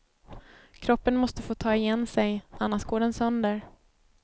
Kroppen måste få ta igen sig, annars går den sönder.